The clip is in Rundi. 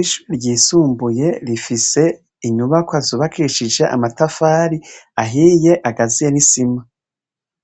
Ishure ry'isumbuye rifise inyubakwa zubakishije amatafari ahiye agazuye n'isima.